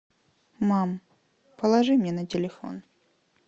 мам положи мне на телефон